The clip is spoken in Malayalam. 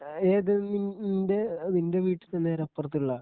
ഏത് നീ നിന്റെ നിന്റെ വീടിന്റെ നേരെപ്പുറത്തുള്ള